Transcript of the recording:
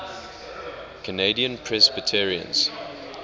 canadian presbyterians